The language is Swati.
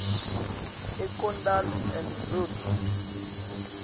eikendal and groot